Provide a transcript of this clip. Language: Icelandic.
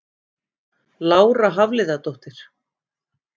Lára Hafliðadóttir